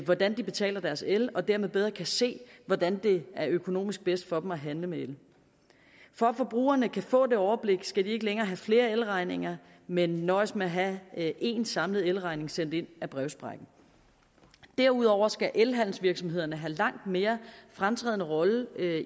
hvordan de betaler deres el og dermed bedre kan se hvordan det er økonomisk bedst for dem at handle med el for at forbrugerne kan få det overblik skal de ikke længere have flere elregninger men nøjes med at have en samlet elregning sendt ind ad brevsprækken derudover skal elhandelsvirksomhederne have en langt mere fremtrædende rolle